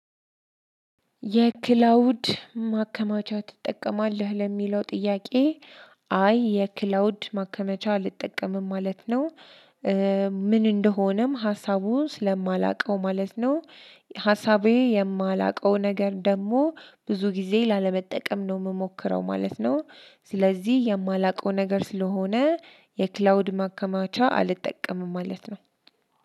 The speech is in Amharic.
የክላውድ ማከማቻ ትጠቀማለህ ለሚለው ጥያቄ? አ አይ የክላውድ ማከመቻ አልጠቀምም ማለት ነው። ምን እንደሆነም ሀሳቡ ስለማላውቀው ማለት ነው። ሀሳቤ የማላውቀው ነገር ደግሞ ብዙ ጊዜ ላለመጠቀም ነው የምሞክረው ማለት ነው። ስለዚህ የማላውቀው ነገር ስለሆነ የክላውድ ማከማቻ አልጠቀምም ማለት ነው።